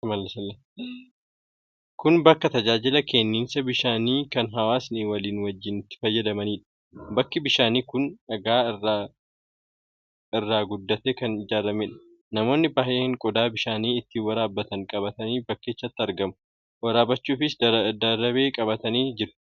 Kun bakka tajaajila kenniinsa bishaanii kan hawaasni walii wajjin itti fayyadamaniidha. Bakki bishaanii kun dhagaa irraa guddatee kan ijaarameedha. Namoonni baay'een qodaa bishaan itti waraabbatan qabatanii bakkichatti argamu. Waraabbachuufis darabee qabatanii jiru.